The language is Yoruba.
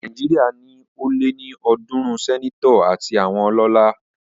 Nàìjíríà ní ó lé ní ọ̀dúrún sẹ́netọ̀ àti àwọn ọlọ́lá